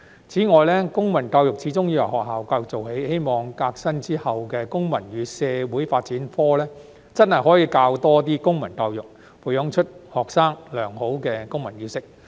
此外，公民教育始終要由學校教育做起，希望革新之後的公民與社會發展科真的可以多教一些公民教育，培養出學生良好的公民意識。